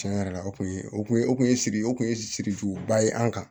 Tiɲɛ yɛrɛ la o kun ye o kun ye o kun ye siri o kun ye siriki juguba ye an kan